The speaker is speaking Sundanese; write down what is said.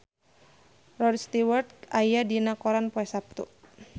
Rod Stewart aya dina koran poe Saptu